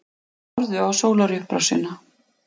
Horfðu á sólarupprásina.